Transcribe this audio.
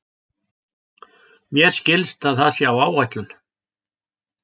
Mér skilst að það sé á áætlun.